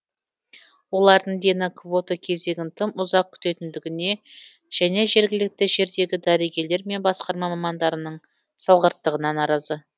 олардың дені квота кезегін тым ұзақ күтетіндігіне және жергілікті жердегі дәрігерлер мен басқарма мамандарының салғырттығына наразы